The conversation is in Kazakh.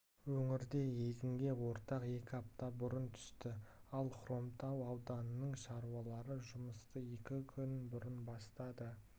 өңірде егінге орақ екі апта бұрын түсті ал хромтау ауданының шаруалары жұмысты екі күн бұрын бастады